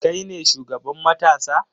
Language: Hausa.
Kai ne shugaban matasa?